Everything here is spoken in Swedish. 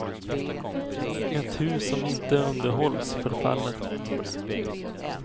Ett hus som inte underhålls förfaller.